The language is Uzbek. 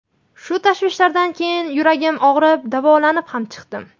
Shu tashvishlardan keyin yuragim og‘rib, davolanib ham chiqdim.